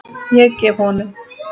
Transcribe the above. Ég gef honum